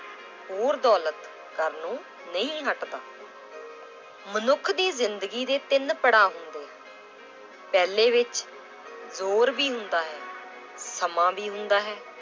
ਹੋਰ ਦੌਲਤ ਕਰਨੋ ਨਹੀਂ ਹਟਦਾ l ਮਨੁੱਖ ਦੀ ਜ਼ਿੰਦਗੀ ਦੇ ਤਿੰਨ ਪੜ੍ਹਾਅ ਹੁੰਦੇl ਪਹਿਲੇ ਵਿੱਚ ਜ਼ੋਰ ਵੀ ਹੁੰਦਾ ਹੈ, ਸਮਾਂ ਵੀ ਹੁੰਦਾ ਹੈ